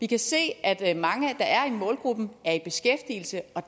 kan se at at mange der er i målgruppen